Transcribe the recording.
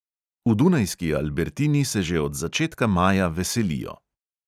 V dunajski albertini se že od začetka maja veselijo.